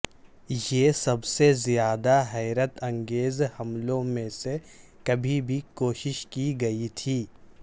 یہ سب سے زیادہ حیرت انگیز حملوں میں سے کبھی بھی کوشش کی گئی تھی